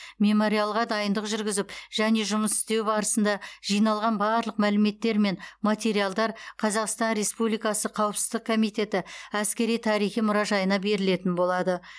мемориалға дайындық жүргізіп және жұмыс істеу барысында жиналған барлық мәліметтер мен материалдар қазақстан республикасы қауіпсіздік комитеті әскери тарихи мұражайына берілетін болады